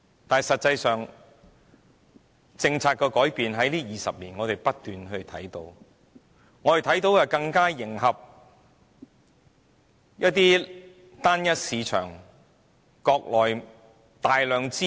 但實際上，我們在這20年間，不斷看到政策改變，看到是想更加迎合單一市場，即着眼國內大量的資本。